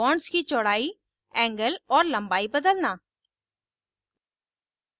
bonds की चौड़ाई angle और लम्बाई बदलना